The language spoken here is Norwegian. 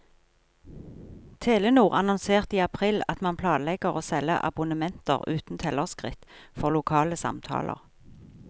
Telenor annonserte i april at man planlegger å selge abonnementer uten tellerskritt for lokale samtaler.